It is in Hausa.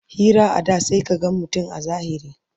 Hira a da sai ka gan mutum a zahiri